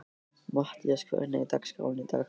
Mattías, hvernig er dagskráin í dag?